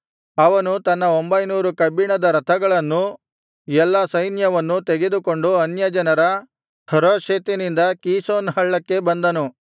ಅವನು ತನ್ನ ಒಂಭೈನೂರು ಕಬ್ಬಿಣದ ರಥಗಳನ್ನೂ ಎಲ್ಲಾ ಸೈನ್ಯವನ್ನೂ ತೆಗೆದುಕೊಂಡು ಅನ್ಯಜನರ ಹರೋಷೆತಿನಿಂದ ಕೀಷೋನ್ ಹಳ್ಳಕ್ಕೆ ಬಂದನು